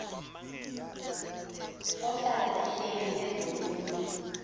ohlala ehleli ezonweni